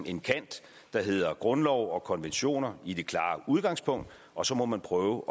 en kant der hedder grundlov og konventioner i det klare udgangspunkt og så må man prøve